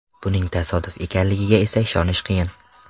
Buning tasodif ekanligiga esa ishonish qiyin.